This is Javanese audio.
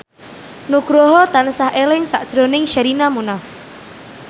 Nugroho tansah eling sakjroning Sherina Munaf